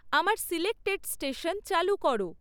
আমার selected station চালু করো